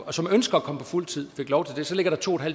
og som ønsker at komme på fuld tid fik lov til det så ligger der to